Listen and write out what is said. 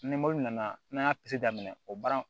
Ni nana n'an y'a daminɛ o baara